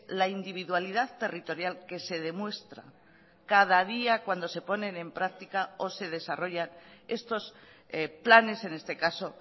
la individualidad territorial que se demuestra cada día cuando se ponen en práctica o se desarrollan estos planes en este caso